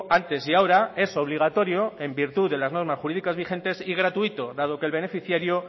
antes y ahora es obligatorio en virtud de las normas jurídicas vigentes y gratuito dado que el beneficiario